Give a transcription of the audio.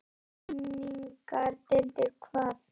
Greiningardeildir hvað?